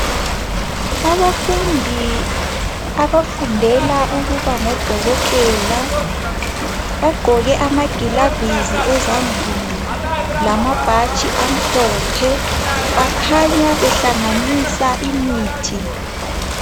Abafundi abafundela ukuba ngodokotela bagqoke amagilovisi ezandleni lababhatshi amhlophe bakhanya behlanganisa imithi